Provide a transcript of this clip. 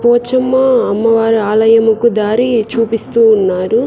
పోచమ్మ అమ్మవారి ఆలయముకు దారి చూపిస్తూ ఉన్నారు.